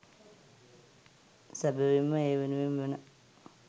සැබැවින්ම ඒ වෙනුවෙන් වන